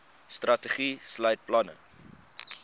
strategie sluit planne